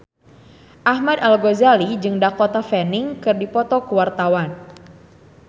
Ahmad Al-Ghazali jeung Dakota Fanning keur dipoto ku wartawan